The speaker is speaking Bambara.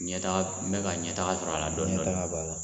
Ɲɛ taga n bɛ ka ɲɛtaga sɔrɔ a la dɔɔni dɔɔni ɲɛtaga b'a la.